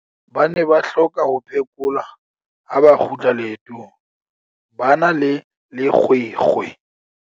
ba ne ba hloka ho phekolwa ha ba kgutla leetong ba na le lekgwekhwe